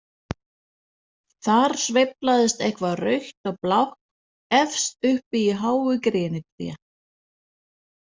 Þar sveiflaðist eitthvað rautt og blátt efst uppi í háu grenitré.